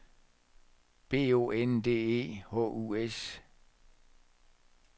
B O N D E H U S